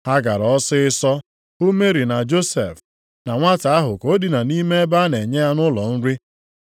Ha gara ọsịịsọ hụ Meri na Josef, na nwata ahụ ka o dina nʼime ebe a na-enye anụ ụlọ nri.